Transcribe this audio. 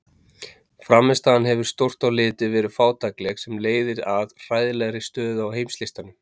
Frammistaðan hefur stórt á litið verið fátækleg sem leiðir að hræðilegri stöðu á heimslistanum.